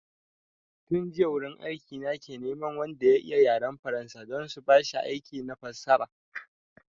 Tun jiya wurin aiki na ke neman wanda ya iya yaran faransa don su bashi aiki na fassara